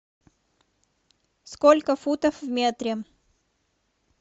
сколько футов в метре